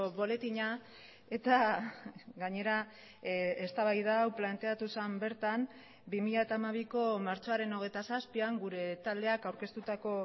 boletina eta gainera eztabaida hau planteatu zen bertan bi mila hamabiko martxoaren hogeita zazpian gure taldeak aurkeztutako